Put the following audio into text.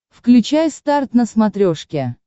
включай старт на смотрешке